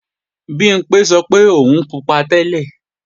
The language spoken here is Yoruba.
Bimpé sọ pé òun pupa tẹ́lẹ̀